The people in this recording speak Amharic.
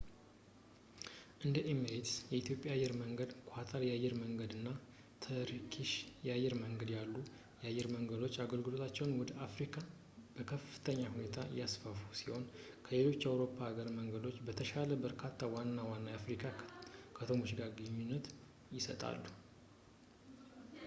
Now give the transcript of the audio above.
እንደ ኤሚሬትስ ፣ ኢትሃድ አየር መንገድ ፣ ኳታር አየር መንገድ እና ተርኪሽ አየር መንገድ ያሉ አየር መንገዶች አገልግሎታቸውን ወደ አፍሪካ በከፍተኛ ሁኔታ ያስፋፉ ሲሆን ከሌሎች የአውሮፓ አየር መንገዶች በተሻለ ከበርካታ ዋና-ዋና የአፍሪካ ከተሞች ጋር ግንኙነቶችን ይሰጣሉ